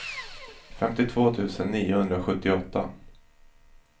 femtiotvå tusen niohundrasjuttioåtta